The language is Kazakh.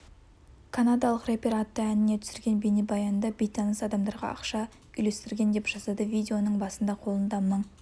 канадалық рэпер атты әніне түсірген бейнебаянында бейтаныс адамдарға ақша үйлестірген деп жазады видеоның басында қолында мың